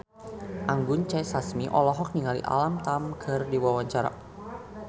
Anggun C. Sasmi olohok ningali Alam Tam keur diwawancara